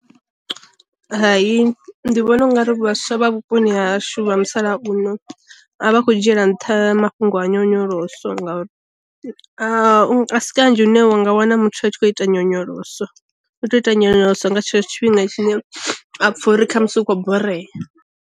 Hai ndi vhona ungari vhaswa vha vhuponi hashu vha musalauno a vha a kho dzhiela nṱha mafhungo a nyonyoloso, nga a si kanzhi une wa nga wana muthu a tshi kho ita nyonyoloso u tou ita nyonyoloso nga tshetsho tshifhinga tshine a apfha uri kha musi u khou borea.